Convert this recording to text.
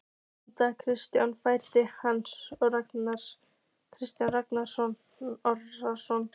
Einars Kárasonar, og félaga hans, Kjartans Ragnarssonar.